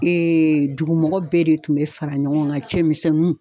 Eee dugu mɔgɔ bɛɛ de tun be fara ɲɔgɔn kan cɛmisɛnnunw